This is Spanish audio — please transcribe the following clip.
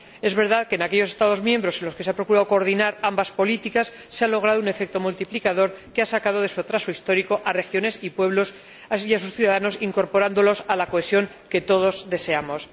Es verdad que en aquellos Estados miembros en los que se ha procurado coordinar ambas políticas se ha logrado un efecto multiplicador que ha sacado de su atraso histórico a regiones y pueblos y a sus ciudadanos, incorporándolos a la cohesión que todos deseamos.